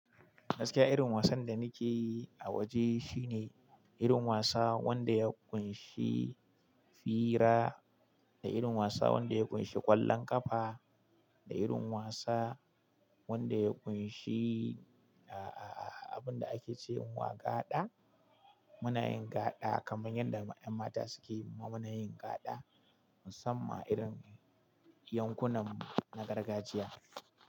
Gaskiya irin wasan da nike yi a waje shine irin wasa wanda ya ƙunshi fira, da irin wasa wanda ya ƙunshi ƙwallon ƙafa, da irin wasa wanda ya ƙunshi ah-ah-ah abinda ake ce wa gaɗa. Muna yin gaɗa kaman yadda ƴan mata suke yi, muna yin gaɗa musamman irin yankunan na gargajiya.